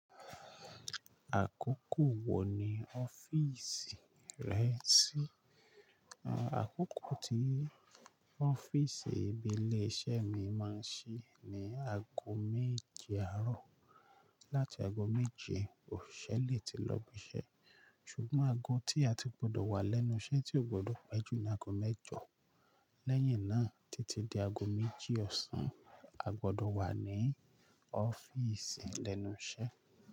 Àkókò wò ní ọ́fíìsì rẹ ṣí? Àkókò tí ọ́fíìsì ibi ilé iṣẹ́ mi máa ń ṣí ní ago méje àárọ̀. Láti ago méje, òṣìṣẹ́ lè ti lọ ibi iṣẹ́. Ṣùgbọ́n ago tí a ti gbọdọ̀ wà lẹ́nu iṣẹ́ tí ò gbọdọ̀ péjú ni ago mẹ́jọ. Lẹ́yìn náà títí di ago méjì ọ̀sán, a gbọdọ̀ wà ní ọ́fíìsì lẹ́nu iṣẹ́